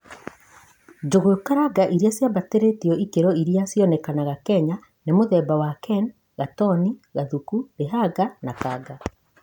Njugu karanga iria cīambatīrītio ikiro iria cionekanaga Kenya nimutheba wa KEN ,gatoni, Gathuku, Līhanga na Kanga.